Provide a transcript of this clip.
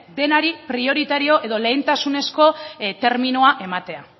denari prioritario edo lehentasunezko terminoa ematea